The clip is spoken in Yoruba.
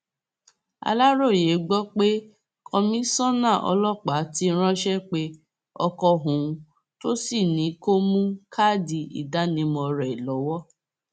aláròye gbọ pé kọmíṣánná ọlọpàá ti ránṣẹ pé ọkọ òun tó sì ní kó mú káàdì ìdánimọ rẹ lọwọ